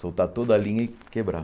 Soltar toda a linha e quebrar.